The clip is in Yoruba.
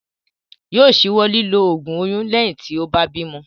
Yóò ṣíwọ́ lílo ògùn oyún lẹ́yìn tí ó bá bímo.